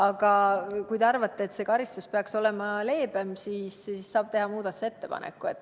Aga kui te arvate, et see karistus peaks olema leebem, siis saate teha muudatusettepaneku.